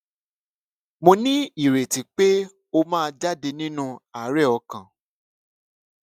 mo ní ìrètí pé ó máa jáde nínú àárè ọkàn